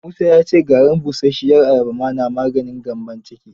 Musa ya ce garin busasshiyar ayaba ma na maganin gyambon ciki.